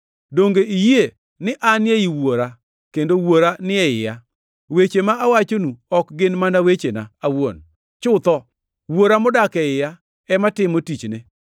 Donge iyie ni An ei Wuora kendo Wuora ni e iya? Weche ma awachonu ok gin mana wechena awuon. Chutho, Wuora modak e iya ema timo tichne.